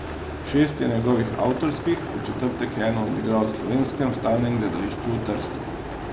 Šest je njegovih avtorskih, v četrtek je eno odigral v Slovenskem stalnem gledališču v Trstu.